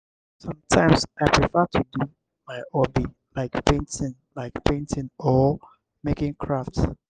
sometimes i prefer to do my hobby like painting like painting or making craft.